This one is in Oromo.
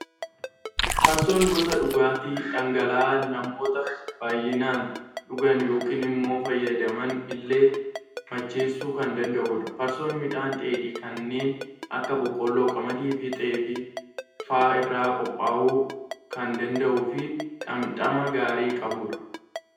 Farsoon gosa dhugaatii dhangala'aa, namoota baayyinaan dhugan yookaan immoo fayyadaman illee macheessuu kan danda'udha. Farsoon midhaan dheedhii kanneen akka boqolloo, qamadii fi xaafii fa'aa irraa qophaa'uu kan danda'uu fi dhamdhama gaarii qabudha.